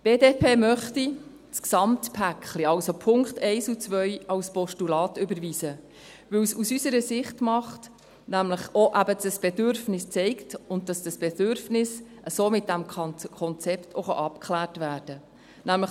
Die BDP möchte das Gesamtpäckchen, also die Punkte 1 und 2, als Postulat überweisen, weil es aus unserer Sicht Sinn macht und eben auch das Bedürfnis zeigt, und weil dieses Bedürfnis mit diesem Konzept auch abgeklärt werden kann.